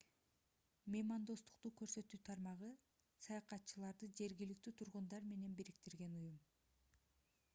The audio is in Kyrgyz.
меймандостук көрсөтүү тармагы саякатчыларды жергиликтүү тургундар менен бириктирген уюм